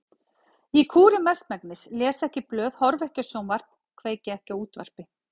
Ég kúri mestmegnis, les ekki blöð, horfi ekki á sjónvarp, kveiki ekki á útvarpi.